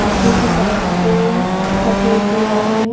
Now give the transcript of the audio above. पीछे की साइड पे सफेद दीवारे है।